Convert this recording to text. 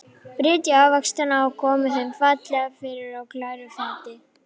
Brytjið ávextina og komið þeim fallega fyrir á glæru fati.